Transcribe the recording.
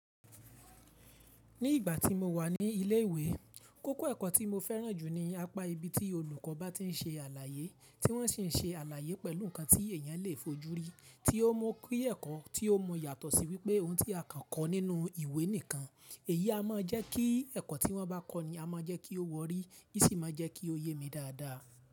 Ní ìgbà tí mo wà ní ilé ìwé, kókó ẹ̀kọ́ tí mo fẹ́ràn jù ní apá ibi tí olùkọ́ bá ti ń ṣe àlàyé, tí wọ́n sì ń ṣe àlàyé pẹ̀lú nǹkan tí èèyàn lè fojúrí, tí ó mọ ká ẹ̀kọ́, tí ó mọ yàtọ̀ sí wípé oun tí a kàn kọ́ nínú ìwé nìkan. Èyí a máa jẹ́ kí ẹ̀kọ́ tí wọ́n bá kọ́ ni a máa jẹ́ kí ó wọrí, í sì máa jẹ́ kí ó yé mi dáadáa.